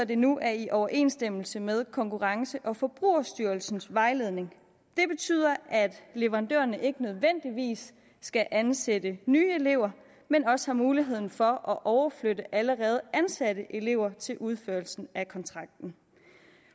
det nu er i overensstemmelse med konkurrence og forbrugerstyrelsens vejledning det betyder at leverandørerne ikke nødvendigvis skal ansætte nye elever men også har muligheden for at overflytte allerede ansatte elever til udførelsen af kontrakten